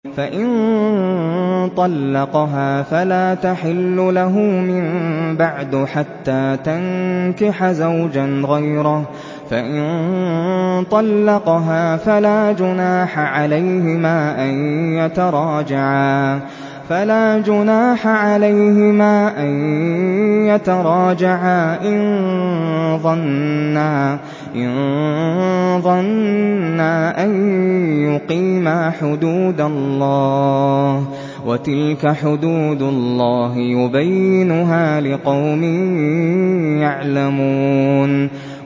فَإِن طَلَّقَهَا فَلَا تَحِلُّ لَهُ مِن بَعْدُ حَتَّىٰ تَنكِحَ زَوْجًا غَيْرَهُ ۗ فَإِن طَلَّقَهَا فَلَا جُنَاحَ عَلَيْهِمَا أَن يَتَرَاجَعَا إِن ظَنَّا أَن يُقِيمَا حُدُودَ اللَّهِ ۗ وَتِلْكَ حُدُودُ اللَّهِ يُبَيِّنُهَا لِقَوْمٍ يَعْلَمُونَ